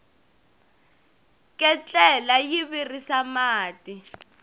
ketlela yi virisa mati